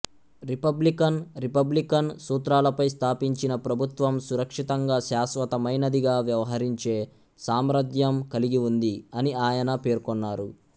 Republican republican సూత్రాలపై స్థాపించిన ప్రభుత్వం సురక్షితంగా శాశ్వతమైనదిగా వ్యవహరించే సామర్థ్యం కలిగివుంది అని ఆయన పేర్కొన్నారు